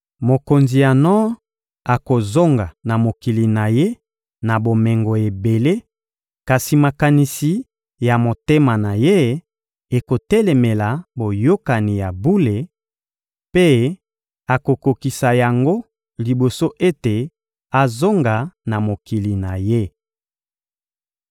Mokonzi ya nor akozonga na mokili na ye na bomengo ebele, kasi makanisi ya motema na ye ekotelemela boyokani ya bule; mpe akokokisa yango liboso ete azonga na mokili na ye.